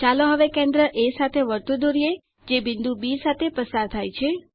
ચાલો હવે કેન્દ્ર એ સાથે વર્તુળ દોરીએ અને જે બિંદુ બી સાથે પસાર થાય છે